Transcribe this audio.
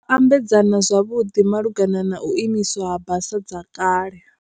Ambedzana zwavhuḓi malugana na u imiswa ha basa dza kale.